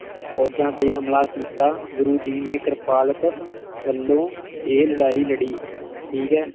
ਫੌਜਾਂ 'ਤੇ ਹਮਲਾ ਕੀਤਾ, ਗੁਰੂ ਜੀ ਨੇ ਕ੍ਰਿਪਾਲਤ ਵੱਲੋਂ ਇਹ ਲੜਾਈ ਲੜੀ, ਠੀਕ ਹੈ।